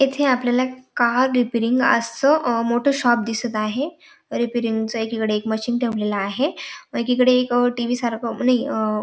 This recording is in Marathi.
इथे आपल्याला एक कार रिपेअरिंग असं अ मोठ शॉप दिसत आहे रिपेअरिंग एक इकड मशीन ठेवलेलं आहे एकीकडे एक टी.व्ही. सारखं नाई अ --